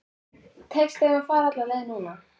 Tekst þeim að fara alla leið núna?